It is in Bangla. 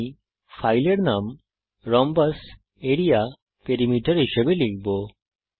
আমি ফাইলের নাম rhombus area পেরিমিটার হিসাবে লিখব